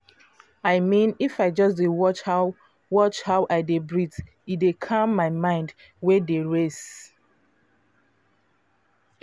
i mean if i just dey watch how watch how i dey breathe e dey calm my mind wey dey race.